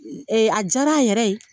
a diyara a yɛrɛ ye.